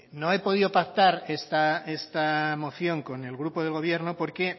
no he podido pactar esta moción con el grupo del gobierno porque